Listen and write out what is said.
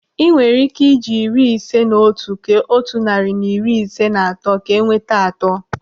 Ị nwere ike eji iri ise na otu kee otu narị na iri ise na atọ ka enweta atọ.